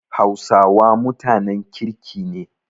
Hausawa mutanen kirki ne.